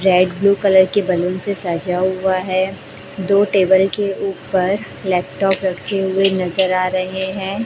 Red blue colour के balloon से सजा हुआ है दो टेबल के ऊपर लैपटॉप रखे हुए नजर आ रहे हैं।